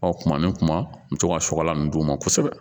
Ɔ kuma min kuma n bɛ to ka sɔgɔlan m'o kosɛbɛ